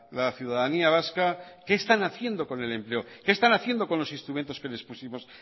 la ciudadanía vasca qué están haciendo con el empleo qué están haciendo con los instrumentos que les pusimos